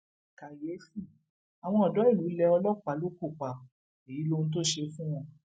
kàyééfì àwọn odò ìlú lé ọlọpàá lóko pa èyí lóhun tó ṣe fún wọn